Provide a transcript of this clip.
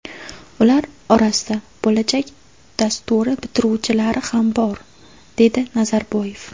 Ular orasida ‘Bo‘lajak’ dasturi bitiruvchilari ham bor”, dedi Nazarboyev.